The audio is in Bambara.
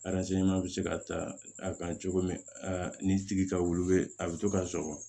bɛ se ka ta a kan cogo min a ni tigi ka wili a bɛ to ka sɔgɔ